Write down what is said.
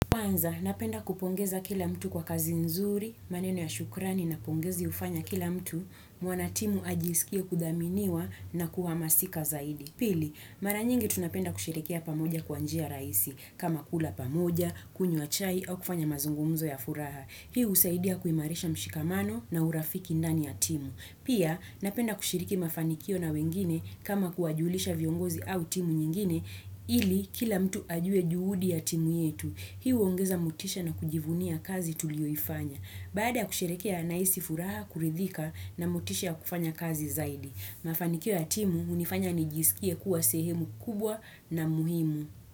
Kwanza, napenda kupongeza kila mtu kwa kazi nzuri, maneno ya shukrani na pongezi ufanya kila mtu, mwanatimu ajisikie kudhaminiwa na kuhamasika zaidi. Pili, maranyingi tunapenda kushirikiya pamoja kwanjia raisi, kama kula pamoja, kunywa chai, au kufanya mazungumzo ya furaha. Hiu usaidia kuimarisha mshikamano na urafiki ndani ya timu. Pia, napenda kushiriki mafanikio na wengine kama kuwajulisha viongozi au timu nyingine, ili kila mtu ajue juhudi ya timu yetu. Hi uongeza motisha na kujivunia kazi tulioifanya. Baada ya kusherehekea nahisi furaha, kuridhika na motisha ya kufanya kazi zaidi. Mafanikio ya timu, unifanya nijisikia kuwa sehemu kubwa na muhimu.